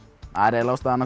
eiginlega ástæðan